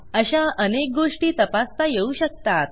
अशा अनेक गोष्टी तपासता येऊ शकतात